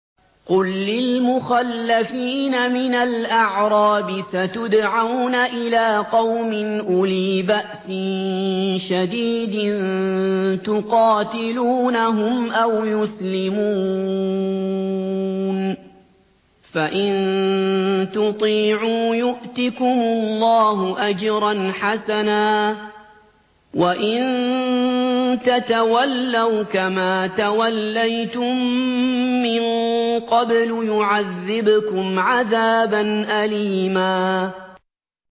قُل لِّلْمُخَلَّفِينَ مِنَ الْأَعْرَابِ سَتُدْعَوْنَ إِلَىٰ قَوْمٍ أُولِي بَأْسٍ شَدِيدٍ تُقَاتِلُونَهُمْ أَوْ يُسْلِمُونَ ۖ فَإِن تُطِيعُوا يُؤْتِكُمُ اللَّهُ أَجْرًا حَسَنًا ۖ وَإِن تَتَوَلَّوْا كَمَا تَوَلَّيْتُم مِّن قَبْلُ يُعَذِّبْكُمْ عَذَابًا أَلِيمًا